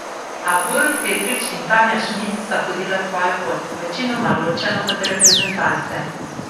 A Borut Petrič in Tanja Šmid sta hodila svojo pot, večinoma ločeno od reprezentance.